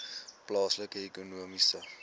plaaslike ekonomiese